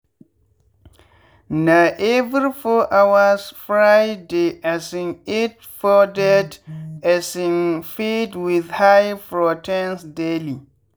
na every four hours fry dey um eat powdered um feed with high proteins daily